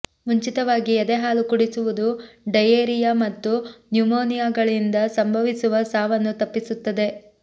ಮುಂಚಿತವಾಗಿ ಎದೆಹಾಲು ಕುಡಿಸುವುದು ಡಯೇರಿಯಾ ಮತ್ತು ನ್ಯುಮೇನಿಯಾಗಳಿಂದ ಸಂಭವಿಸುವ ಸಾವನ್ನು ತಪ್ಪಿಸುತ್ತದೆ